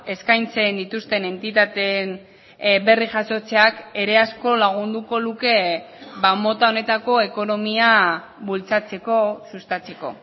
eskaintzen dituzten entitateen berri jasotzeak ere asko lagunduko luke mota honetako ekonomia bultzatzeko sustatzeko